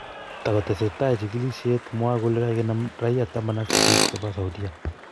Takoteseta chigilisiek, mwar Kole kakenam raia taman ak sisit Chebo saudia